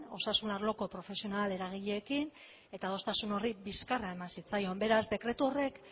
osasun arloko profesional eragileekin eta adostasun horri bizkarra eman zitzaion beraz dekretu horrek